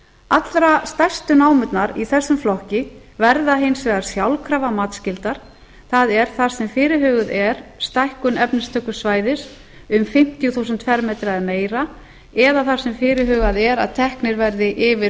allra stærstu námurnar í þessum flokki verða hins vegar sjálfkrafa matsskyldar það er þar sem fyrirhuguð er stækkun efnistökusvæðis um fimmtíu þúsund fermetrar eða meira eða þar sem fyrirhugað er að teknir verði yfir